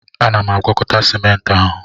Ana m agwakọta Sịment ahụ